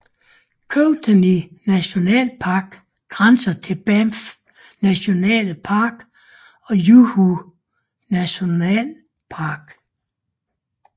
Kootenay nationalpark grænser til Banff National Park og Yoho National Park